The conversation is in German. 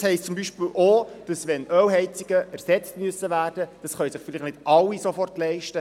Wenn wir Ölheizungen ersetzen wollen, können sich dies nicht alle Leute sofort leisten.